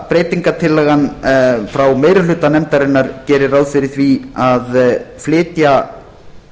breytingartillagan frá meiri hluta nefndarinnar gerir ráð fyrir því að flytja